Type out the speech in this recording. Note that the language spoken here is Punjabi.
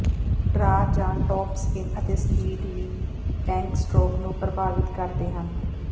ਡਰਾਅ ਜਾਂ ਟੌਪ ਸਪਿਨ ਅਤੇ ਸਪੀਡ ਵੀ ਬੈਂਕ ਸਟ੍ਰੋਕ ਨੂੰ ਪ੍ਰਭਾਵਤ ਕਰਦੇ ਹਨ